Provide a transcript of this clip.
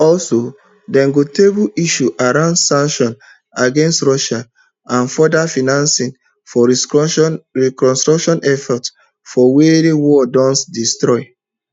also dem go table issues around sanctions against russia and future financing for reconstruction efforts for wia war don destroy